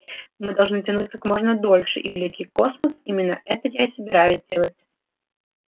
мы должны тянуть как можно дольше и великий космос именно это я и собираюсь делать